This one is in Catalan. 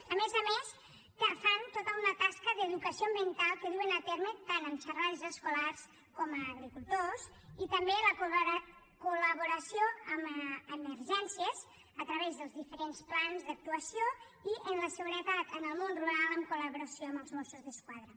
a més a més fan tota una tasca d’educació ambiental que duen a terme tant en xerrades escolars com a agricultors i també la col·laboració amb emergències a través dels diferents plans d’actuació i en la seguretat en el món rural en collaboració amb els mossos d’esquadra